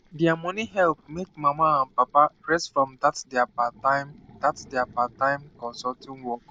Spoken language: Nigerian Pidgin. their money help make mama and papa rest from that their parttime that their parttime consulting work